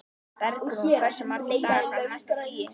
Bergrún, hversu margir dagar fram að næsta fríi?